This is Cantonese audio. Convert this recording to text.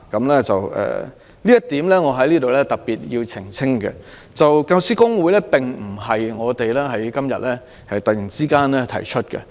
關於這一點，我在此要特別澄清，教師公會並不是我們今天突然提議成立的。